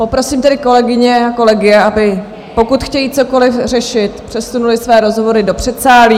Poprosím tedy kolegyně a kolegy, aby, pokud chtějí cokoliv řešit, přesunuli své rozhovory do předsálí.